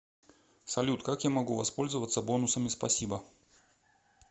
салют как я могу воспользоваться бонусами спасибо